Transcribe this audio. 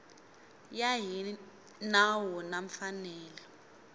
ya hi nawu na mfanelo